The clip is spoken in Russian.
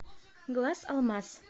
глаз алмаз